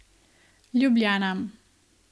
Ljubljana.